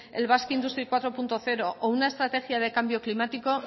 basque industry cuatro punto cero o una estrategia de cambio climático